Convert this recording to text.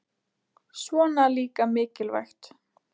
Svona líka mikilvægt